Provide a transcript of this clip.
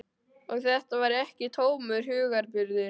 Og þetta var ekki tómur hugarburður.